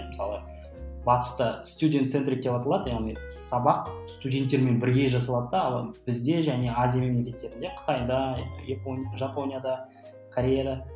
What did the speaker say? мысалы батыста яғни сабақ студенттермен бірге жасалады да ал бізде және азия мемлекеттерінде қытайда жапонияда кореяда